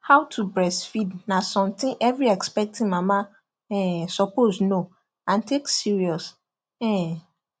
how to breastfeed na something every expecting mama um suppose know and take serious um